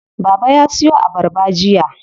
Baba ya siyo abarba jiya.